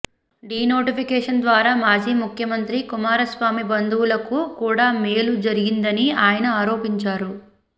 denotification ద్వారా మాజీ ముఖ్యమంత్రి కుమారస్వామి బంధువులకు కూడా మేలు జరిగిందని ఆయన ఆరోపించారు